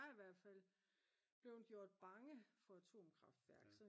jeg er i hvert fald blevet gjort bange for atomkraftværk